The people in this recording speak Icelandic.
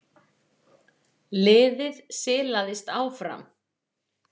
Liðið silaðist áfram.